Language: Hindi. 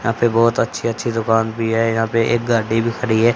यहां पे बहोत अच्छी अच्छी दुकान भी है यहां पे एक गाडी भी खड़ी है।